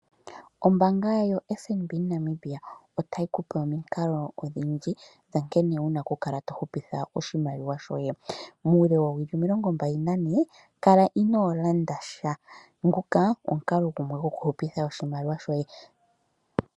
Ombaanga yo FNB moNamibia otayi ku pe omikalo odhindji nkene wuna oku kala tohupitha oshimaliwa shoye. Muule woowili omilongo mbali na ne kala inoolanda sha nguka omukalo gumwe goku hupitha oshimaliwa shoye.